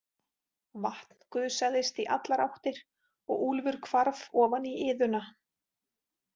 Vatn gusaðist í allar áttir og Úlfur hvarf ofan í iðuna.